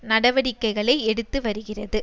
நடவடிக்கைகளை எடுத்து வருகிறது